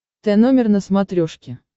тномер на смотрешке